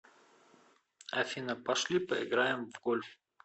афина пошли поиграем в гольф